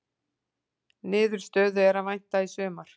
Niðurstöðu er að vænta í sumar